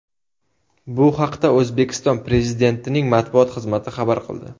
Bu haqda O‘zbekiston Prezidentining matbuot xizmati xabar qildi .